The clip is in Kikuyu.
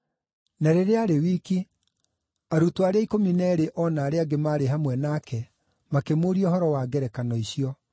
Na rĩrĩa aarĩ wiki, arutwo arĩa ikũmi na eerĩ, o na arĩa angĩ maarĩ hamwe nake, makĩmũũria ũhoro wa ngerekano icio.